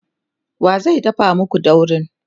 wa zai dafa maku daurin?